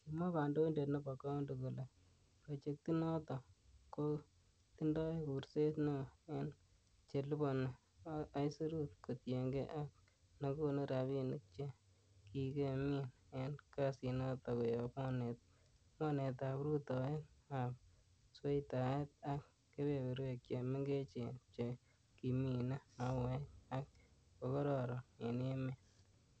Kimwa kandoindet nebo coundi kole, Projectinoton kotindoi kuurset neo en che liponi aisurut, kotienge ak nekonu rabinik che kikemin en kasinoton koyob mornetab rutoet ab sweitaet ak kebeberwek che mengechen che kimine mauek ak kokororon en emet.